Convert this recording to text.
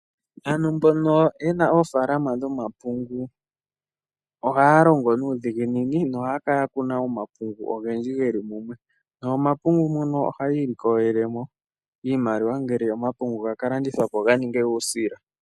Aantu mbono yena oofalama dhomapungu ohaya longo nuudhiginini nohaya kala ya kunaomapungu ogendji geli mumwe, nomomapungu muno ohaya ilikolele mo iimaliwa ngele omapungu gala landithwa po ga ninge uusila.